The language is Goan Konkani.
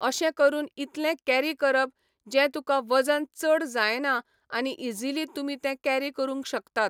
अशें करून इतलें कॅरी करप, जें तुका वजन चड जायना आनी इजिली तुमी तें कॅरी करूंक शकतात.